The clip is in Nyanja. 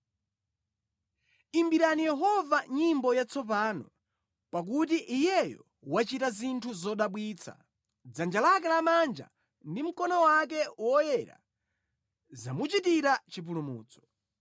Imbirani Yehova nyimbo yatsopano, pakuti Iyeyo wachita zinthu zodabwitsa; dzanja lake lamanja ndi mkono wake woyera zamuchitira chipulumutso.